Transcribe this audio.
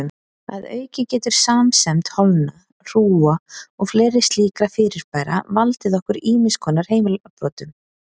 Að auki getur samsemd holna, hrúga og fleiri slíkra fyrirbæra valdið okkur ýmiss konar heilabrotum.